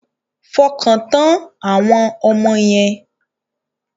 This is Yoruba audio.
Fọkàntán àwọn ọmọ yẹn.